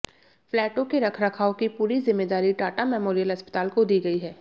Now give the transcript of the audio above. फ्लैटों के रखरखाव की पूरी जिम्मेदारी टाटा मेमोरियल अस्पताल को दी गई है